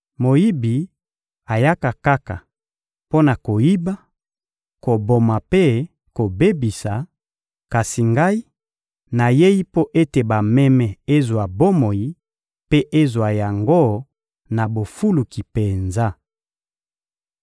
Moyibi ayaka kaka mpo na koyiba, koboma mpe kobebisa; kasi Ngai, nayei mpo ete bameme ezwa bomoi mpe ezwa yango na bofuluki penza.